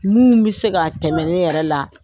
Mun bɛ se ka tɛmɛ ne yɛrɛ la.